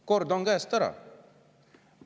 Kord on käest ära!